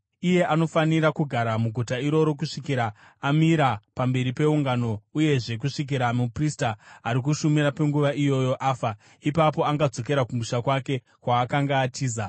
Iye anofanira kugara muguta iroro kusvikira amira pamberi peungano uyezve kusvikira muprista ari kushumira panguva iyoyo afa. Ipapo angazodzokera kumusha kwake kwaakanga atiza.”